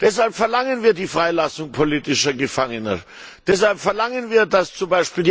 Deshalb verlangen wir die Freilassung politischer Gefangener, deshalb verlangen wir, dass z.